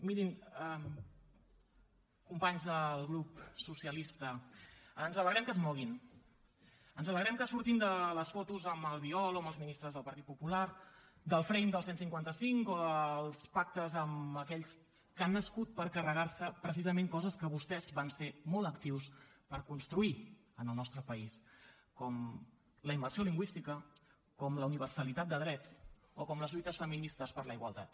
mirin companys del grup socialista ens alegrem que es moguin ens alegrem que surtin de les fotos amb albiol o amb els ministres del partit popular del frame del cent i cinquanta cinc o dels pactes amb aquells que han nascut per carregar se precisament coses que vostès van ser molt actius per construir en el nostre país com la immersió lingüística com la universalitat de drets o com les lluites feministes per la igualtat